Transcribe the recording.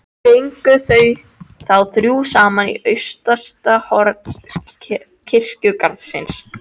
Gengu þau þá þrjú saman í austasta horn kirkjugarðsins.